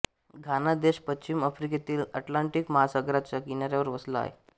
घाना देश पश्चिम आफ्रिकेत अटलांटिक महासागराच्या किनाऱ्यावर वसला आहे